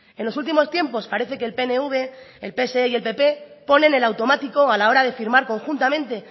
en los últimos tiempos parece que el pnv el pse y el pp ponen el automático a la hora de firmar conjuntamente